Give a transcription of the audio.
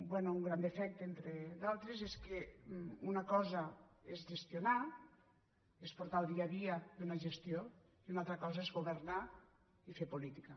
bé un gran defecte entre altres és que una cosa és gestionar és portar el dia a dia d’una gestió i una altra cosa és governar i fer política